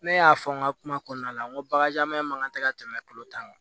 Ne y'a fɔ n ka kuma kɔnɔna la n ko bakarijan ma kan tɛ ka tɛmɛ kolo kan